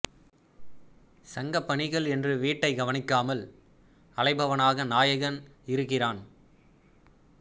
சங்கப் பணிகள் என்று வீட்டைக் கவனிக்காமல் அலைபவனாக நாயகன் இருக்கிறான்